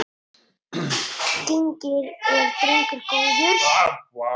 Genginn er drengur góður.